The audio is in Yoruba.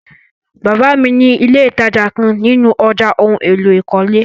Baba mi ni ìlé́ ìtajà kan nínú ọ̀já ohun èlò ìkọ́lé.